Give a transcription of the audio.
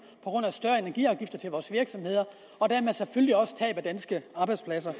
grund af større energiafgifter til vores virksomheder og dermed selvfølgelig også tab af danske arbejdspladser